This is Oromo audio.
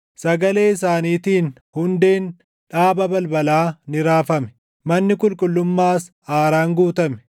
Sagalee isaaniitiin hundeen dhaaba balbalaa ni raafame; manni qulqullummaas aaraan guutame.